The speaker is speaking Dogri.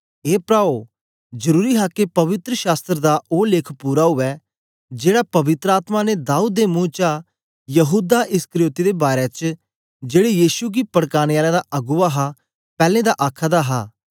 ए प्राओ जरुरी हा के पवित्र शास्त्र दा ओ लेख पूरा उवै जेड़ा पवित्र आत्मा ने दाऊद दे मुं चा यहूदा इस्करियोती दे बारै च जेड़े यीशु गी पड़काने आलें दा अगुवा हा पैलैं दा आखे दा हा